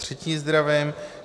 Potřetí zdravím.